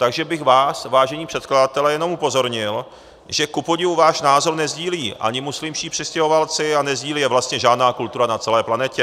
Takže bych vás, vážení předkladatelé, jenom upozornil, že kupodivu váš názor nesdílí ani muslimští přistěhovalci a nesdílí je vlastně žádná kultura na celé planetě.